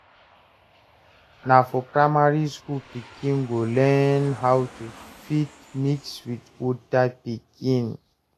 Na for primary school pikin go learn how to fit mix with oda pikin